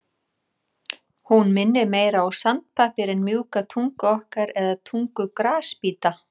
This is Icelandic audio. Hún minnir meira á sandpappír en mjúka tungu okkar eða tungu grasbíta.